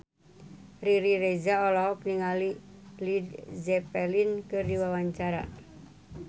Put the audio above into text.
Riri Reza olohok ningali Led Zeppelin keur diwawancara